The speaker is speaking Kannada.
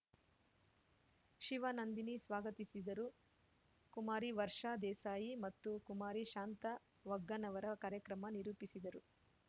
ಶಿವನಂದಿನಿ ಸ್ವಾಗತಿಸಿದರು ಕುಮಾರಿ ವರ್ಷಾ ದೇಸಾಯಿ ಮತ್ತು ಕುಮಾರಿ ಶಾಂತಾ ವಗ್ಗನವರ ಕಾರ್ಯಕ್ರಮ ನಿರೂಪಿಸಿದರು